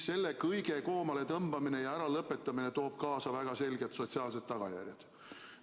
Selle kõige koomaletõmbamine ja äralõpetamine toob kaasa väga selged sotsiaalsed tagajärjed.